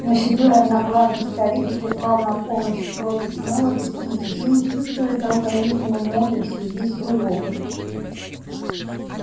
но седой одноглазый старик призвал на помощь против молодости и силы всю свою долголетнюю мудрость и весь свой опыт